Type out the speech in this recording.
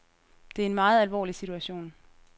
Det er en meget alvorlig situation.